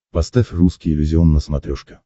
поставь русский иллюзион на смотрешке